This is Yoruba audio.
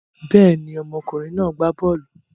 Bẹ́ẹ̀ ni, ọmọkùnrin náà gbá bọ́ọ́lù.